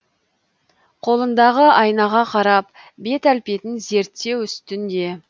қолындағы айнаға қарап бет әлпетін зерттеу үстінде